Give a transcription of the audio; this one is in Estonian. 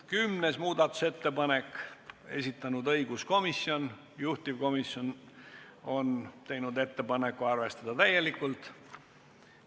10. muudatusettepaneku on esitanud õiguskomisjon, juhtivkomisjon on teinud ettepaneku arvestada seda täielikult.